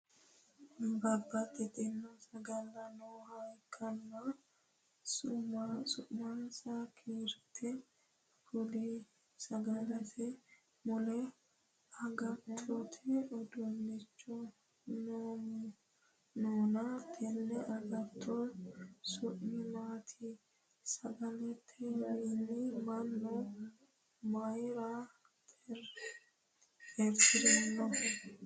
Babbaxitino sagale nooha ikanna sumase kiirte kuli? Sagalete mule agattote uduunichi noonna tenne agatto su'mi maati? Sagaletewiinni mannu mayira xeertirinno?